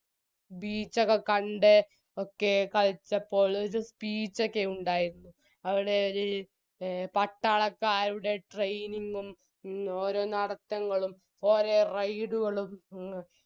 beach ഒക്കെ കണ്ട് ഒക്കെ കളിച്ചപ്പോൾ ഒര് speech ഒക്കെ ഉണ്ടായിരുന്നു അവിടെ ഒര് പട്ടാളക്കാരുടെ training ഉം ഓരോ നടത്തങ്ങളും ഓരോ ride കളും മ്